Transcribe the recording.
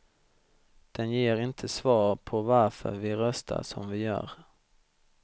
Den ger inte svar på varför vi röstar som vi gör.